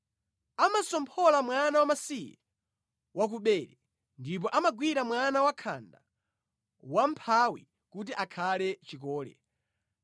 Amatsomphola mwana wamasiye wa ku bere; ndipo amagwira mwana wakhanda wa mʼmphawi kuti akhale chikole.